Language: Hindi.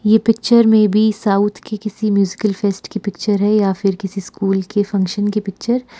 ये पिक्चर मेबी साउथ के किसी म्यूजिकल फेस्ट की पिक्चर है या फिर किसी स्कूल के फंक्शन की पिक्चर ।